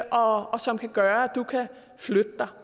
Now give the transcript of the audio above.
og som kan gøre at du kan flytte dig